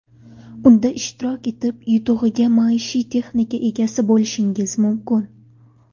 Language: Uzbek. Unda ishtirok etib, yutug‘iga maishiy texnika egasi bo‘lishingiz mumkin.